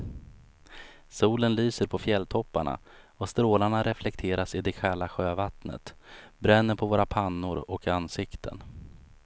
Solen lyser på fjälltopparna och strålarna reflekteras i det kalla sjövattnet, bränner våra pannor och ansikten.